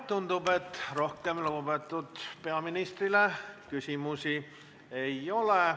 Tundub, et rohkem küsimusi lugupeetud peaministrile ei ole.